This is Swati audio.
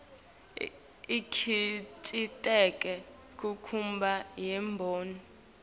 ikhiciteke kunchubo yemboni